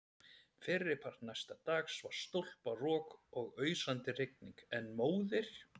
Fyrripart næsta dags var stólparok og ausandi rigning, en móðir